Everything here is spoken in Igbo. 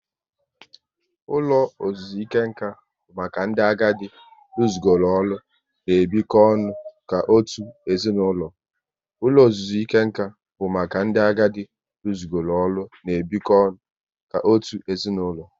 Ụlọ ozuzuike nkà bụ maka ndị agadi rusigoro ọrụ n' ebiko ọnụ ka otu ezinaụlọ